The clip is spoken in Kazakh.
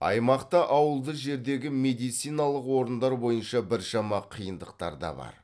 аймақта ауылды жердегі медициналық орындар бойынша біршама қиындықтар да бар